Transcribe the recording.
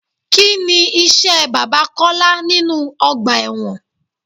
Kini iṣẹ́ bàbá Kọ́lá nínú ọgbà ẹ̀wọ̀n?